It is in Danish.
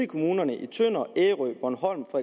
kommunerne tønder ærø bornholm og